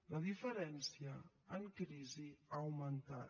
la diferència en crisi ha augmentat